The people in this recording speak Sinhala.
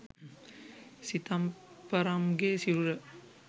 සිතම්පරම්ගේ සිරුර